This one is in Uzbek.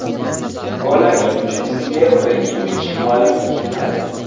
Gollarining uchinchisiga Ibragimovich mualliflik qiladi.